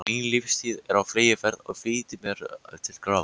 Mín lífstíð er á fleygiferð, ég flýti mér til grafar.